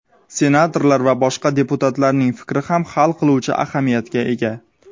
senatorlar va boshqa deputatlarning fikri ham hal qiluvchi ahamiyatga ega.